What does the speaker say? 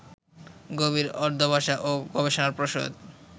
গভীর অধ্যবসায় ও গবেষণাপ্রসূত